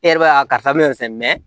E yɛrɛ b'a karisa bina nin sɛnɛ mɛ mɛ